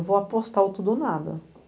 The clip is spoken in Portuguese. Eu vou apostar o tudo ou nada.